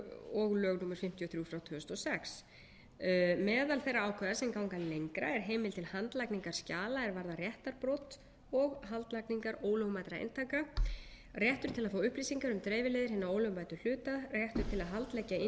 og lög númer fimmtíu og þrjú tvö þúsund og sex meðal þeirra ákvæða sem ganga lengra er heimild til haldlagningar skjala er varða réttarbrot og haldlagningar ólögmætra eintaka réttur til að fá upplýsingar um dreifileiðir hinna ólögmætu hluta réttur til að haldleggja innstæður á